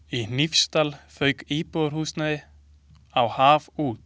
Í Hnífsdal fauk íbúðarhús á haf út.